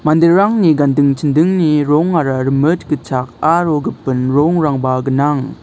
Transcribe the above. manderangni ganding chindingni rongara rimit gitchak aro gipin rongrangba gnang.